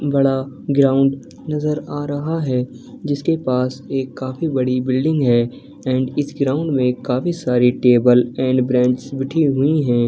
बड़ा ग्राउंड नजर आ रहा है जिसके पास एक काफी बड़ी बिल्डिंग है एंड इस ग्राउंड में काफी सारी टेबल एंड बेंच बिठी हुई हैं ।